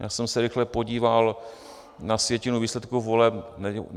Já jsem se rychle podíval na sjetinu výsledků voleb.